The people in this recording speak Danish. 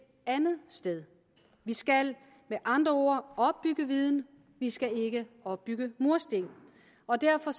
andet sted vi skal med andre ord opbygge viden vi skal ikke opbygge mursten og derfor